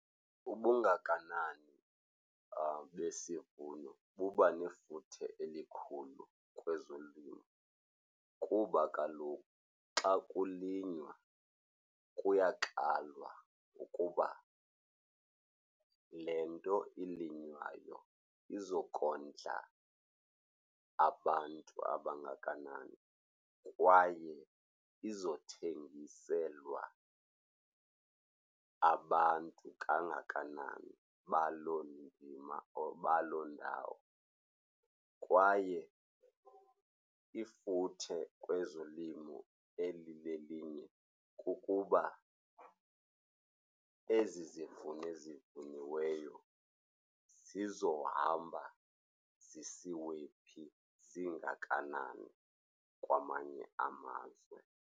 Ubungakanani besivuno kuba nefuthe elikhulu kwezolimo kuba kaloku xa kulinywa kuyakalwa ukuba le nto ilinywayo izokondla abantu abangakanani kwaye izothengiselwa abantu kangakanani baloo ndima or baloo ndawo. Kwaye ifuthe kwezolimo elilelinye kukuba ezi zivuno ezivuniweyo zizohambana zisiwe phi, zingakanani kwamanye amazwe.